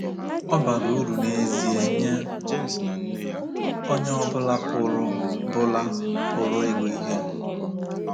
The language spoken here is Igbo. Ọ bara uru n’ezie nye onye ọ bụla pụrụ bụla pụrụ ịgụ ihe.